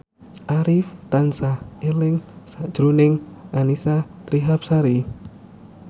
Arif tansah eling sakjroning Annisa Trihapsari